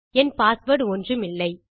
என் password ஒன்றுமில்லை